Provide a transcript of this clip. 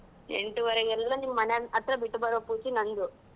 ಎಂಟೂವರೆಗೆ ಎಲ್ಲ ನಿಮ್ ಮನೆ ಹತ್ರ ಬಿಟ್ಟುಬರೋ ಪೂರ್ತಿ ನಂದು.